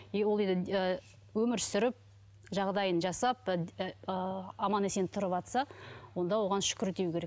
и ол өмір сүріп жағдайын жасап аман есен тұрыватса онда оған шүкір деу керек